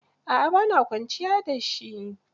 A'a ba na kwanciya da shi.